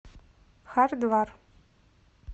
хардвар